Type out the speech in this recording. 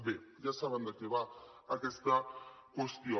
bé ja saben de què va aquesta qüestió